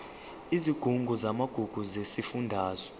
isigungu samagugu sesifundazwe